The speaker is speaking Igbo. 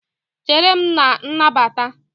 Chere m na nnabata!